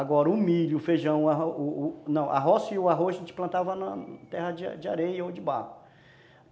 Agora o milho, o feijão, a roça e o arroz a gente plantava na terra de areia ou de barro.